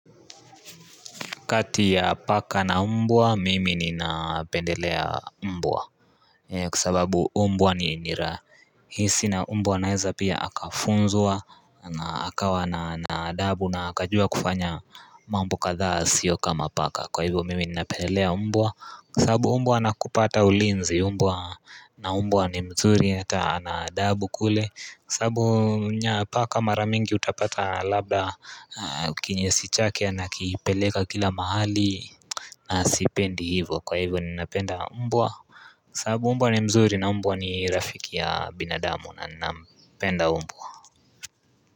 Kati ya paka na umbwa, mimi ninapendelea umbwa eeh. Kwasababu umbwa ni nira hisi na umbwa anaeza pia akafunzwa ahh Akawa na na adabu na akajua kufanya mambo kadhaa sio kama paka. Kwa hivyo mimi ninapendelea umbwa kwasababu umbwa ana kupa ata ulinzi umbwa na umbwa ni mzuri ata ana adabu kule kwasababu paka maramingi utapata labda Kinyesi chake anakipeleka kila mahali na sipendi hivo kwa hivo ni napenda umbwa sababu umbwa ni mzuri na umbwa ni rafiki ya binadamu na ninampenda umbwa.